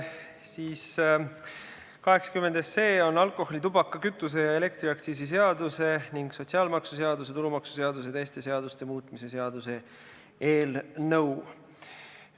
80 SE on alkoholi-, tubaka-, kütuse- ja elektriaktsiisi seaduse ning sotsiaalmaksuseaduse, tulumaksuseaduse ja teiste seaduste muutmise seaduse muutmise seaduse eelnõu.